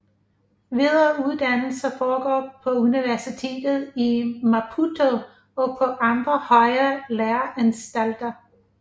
Videreuddannelse foregår på universitetet i Maputo og på andre højere læreanstalter